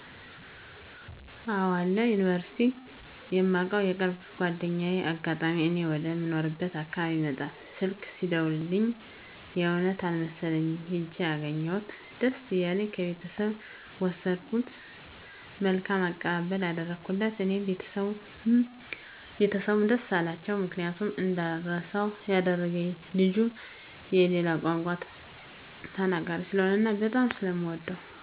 አወ አለ ዮኒቨርስቲ የማውቀው የቅርብ ጎደኛየ በአጋጣሚ እኔ ወደ ምኖርበት አካባቢ ይመጣል። ስልክ ሲደውልልኚ የእውነት አልመሠለኚም ሂጀ አገኚሁት ደስ እያለኚ ከቤተሰብ ወሰድኩት መልካም አቀባበልም አደረጉለት እኔ ቤተሰቡም ደስ አላቸው ምክንያቱም እንዳረሰው ያደረገኚ ልጁ የሌላ ቋንቋ ተናገሪ ስለሆነ እና በጣም ስለምወደው ነው።